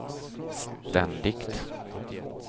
ständigt